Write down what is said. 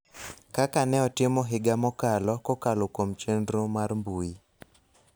kaka ne otimo higa mokalo, kokalo kuom chenro mar mbui.